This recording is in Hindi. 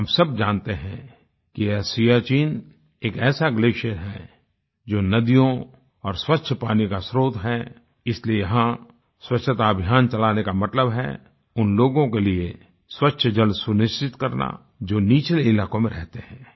हम सब जानते हैं कि यह सियाचिन एक ऐसा ग्लेसियर है जो नदियों और स्वच्छ पानी का स्त्रोत है इसलिए यहाँ स्वच्छता अभियान चलाने का मतलब है उन लोगों के लिए स्वच्छ जल सुनिश्चित करना जो निचले इलाकों में रहते हैं